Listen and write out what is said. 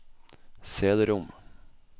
cd-rom